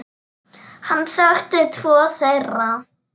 Hann þekkti tvo þeirra.